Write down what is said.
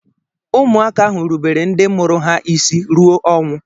ụmụaka ahụ rubere ndị mụrụ ha isi ruo ọnwụ